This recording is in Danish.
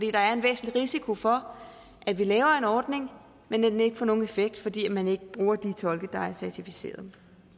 er en væsentlig risiko for at vi laver en ordning men at den ikke får nogen effekt fordi man ikke bruger de tolke der er certificeret